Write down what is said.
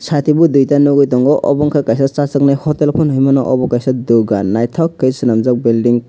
sati bo duita nogoi tango obo ungka kaisa chasaknai hotel pono hingmano obo kaisa dogan naitok ke senamgjak bilding.